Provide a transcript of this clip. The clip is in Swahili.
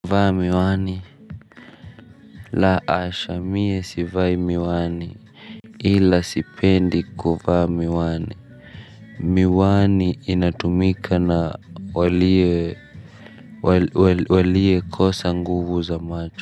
Vaa miwani. La asha mie sivai miwani. Ila sipendi kuvaa miwani. Miwani inatumika na walie walie kosa nguvu za macho.